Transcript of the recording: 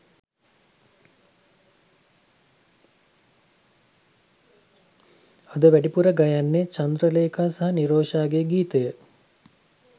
ඇය වැඩිපුර ගයන්නේ චන්ද්‍රලේඛා සහ නිරෝෂාගේ ගීතය